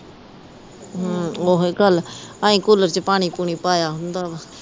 ਹੂੰ ਓਹੀ ਗੱਲ ਅਸੀਂ ਕੂਲਰ ਚ ਪਾਣੀ ਪੁਨੀ ਪਾਇਆ ਹੁੰਦਾ ਵਾ